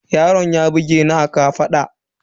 Yaron ya bugeni a kafaɗa